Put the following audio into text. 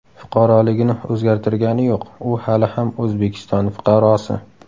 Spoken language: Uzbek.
Fuqaroligini o‘zgartirgani yo‘q, u hali ham O‘zbekiston fuqarosi.